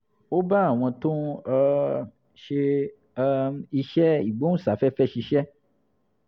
ó bá àwọn tó ń um ṣe um iṣẹ́ ìgbóhùnsáfẹ́fẹ́ ṣiṣẹ́